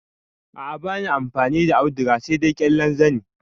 A a bani amfani da auduga sai dai ƙyallen zani.